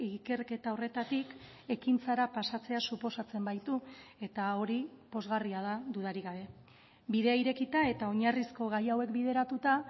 ikerketa horretatik ekintzara pasatzea suposatzen baitu eta hori pozgarria da dudarik gabe bidea irekita eta oinarrizko gai hauek bideratuta